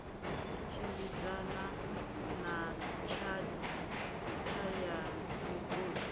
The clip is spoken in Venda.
tshimbidzana na tshatha ya migodi